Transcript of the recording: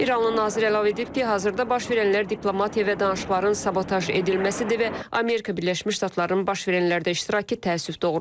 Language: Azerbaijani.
İranlı nazir əlavə edib ki, hazırda baş verənlər diplomatiya və danışıqların sabotaj edilməsidir və Amerika Birləşmiş Ştatlarının baş verənlərdə iştirakı təəssüf doğurur.